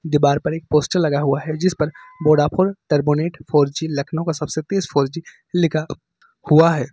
दीवार पर एक पोस्टर लगा हुआ है जिस पर Vodafone turbonet four G Lucknow का सबसे तेज फोर जी लिखा हुआ है।